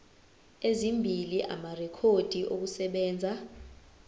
ezimbili amarekhodi okusebenza